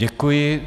Děkuji.